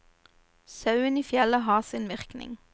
Sauen i fjellet har sin virkning.